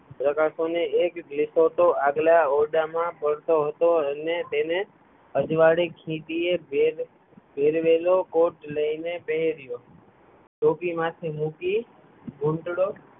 પ્રકાશનો એક આગલા ઓરડામાં પહોંચતો હતો એમને તેને અજવાડે ખેતી એ ભેરવેલો કોટ લઈ ને પહેર્યો ટોપી માથે મૂકી ધૂંટડો પા